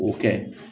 O kɛ